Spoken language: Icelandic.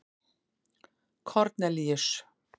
Kornelíus